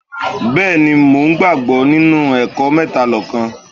Bẹ́ẹ̀ni, mo ń gbàgbọ́ nínú ẹ̀kọ́ Métalọ́kan